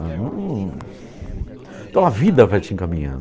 Então, a vida vai te